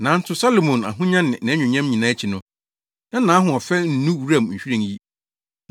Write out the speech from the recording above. Nanso Salomo ahonya ne nʼanuonyam nyinaa akyi no, na nʼahoɔfɛ nnu wuram nhwiren yi.